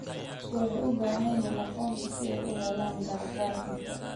Dadku waxay u baahan yihiin aqoonsi si ay u helaan gargaar cunto.